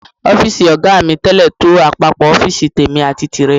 Ọ́fíìsì ọ̀gá mi tẹ́lẹ̀ tó àpapọ̀ ọ́fíìsì tèmi àti tìrẹ.